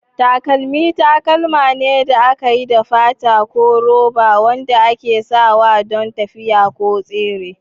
Takalmi takalma ne da aka yi da fata ko roba wanda ake sawa don tafiya ko tsere.